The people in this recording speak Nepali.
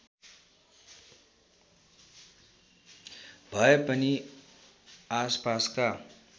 भए पनि आसपासका